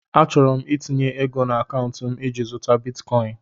Achọrọ m itinye ego na akaụntụ m iji zụtakwu Bitikoin